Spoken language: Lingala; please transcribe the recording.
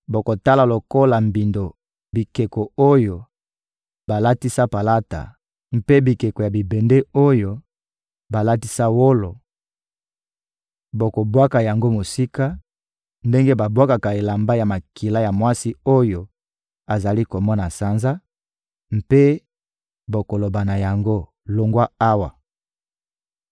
Bokotala lokola mbindo bikeko oyo balatisa palata mpe bikeko ya bibende oyo balatisa wolo; bokobwaka yango mosika ndenge babwakaka elamba ya makila ya mwasi oyo azali komona sanza, mpe bokoloba na yango: «Longwa awa!»